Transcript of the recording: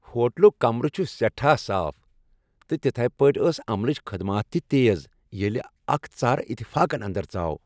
ہوٹلک کمرٕ چُھ سیٹھاہ صاف ، تہٕ تِتھٕے پٲٹھۍ ٲس عملچ خدمات تہِ تیز ییلہِ اکھ ژر اتفاقن انٛدر ژاو ۔